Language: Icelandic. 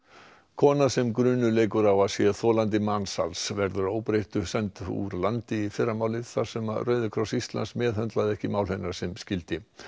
kona sem grunur leikur á að sé þolandi mansals verður að óbreyttu send úr landi í fyrramálið þar sem Rauði kross Íslands meðhöndlaði ekki mál hennar sem skyldi